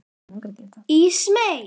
Ísmey, lækkaðu í græjunum.